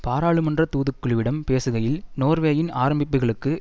பாராளுமன்ற தூதுக்குழுவிடம் பேசுகையில் நோர்வேயின் ஆரம்பிப்புகளுக்கு